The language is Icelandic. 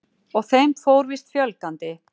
Og þeim fór víst fjölgandi.